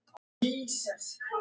Ég breytti því í Kanarí fyrir Eddu.